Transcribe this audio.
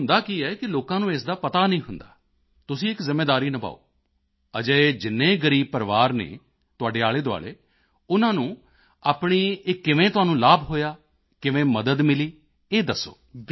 ਵੇਖੋ ਹੁੰਦਾ ਕੀ ਹੈ ਕਿ ਲੋਕਾਂ ਨੂੰ ਇਸ ਦਾ ਪਤਾ ਨਹੀਂ ਹੁੰਦਾ ਹੈ ਤੁਸੀਂ ਇੱਕ ਜ਼ਿੰਮੇਵਾਰੀ ਨਿਭਾਓ ਅਜਿਹੇ ਜਿੰਨੇ ਗ਼ਰੀਬ ਪਰਿਵਾਰ ਹਨ ਤੁਹਾਡੇ ਆਲ਼ੇਦੁਆਲ਼ੇ ਉਨ੍ਹਾਂ ਨੂੰ ਆਪਣੀ ਇਹ ਕਿਵੇਂ ਤੁਹਾਨੂੰ ਲਾਭ ਹੋਇਆ ਕਿਵੇਂ ਮਦਦ ਮਿਲੀ ਇਹ ਦੱਸੋ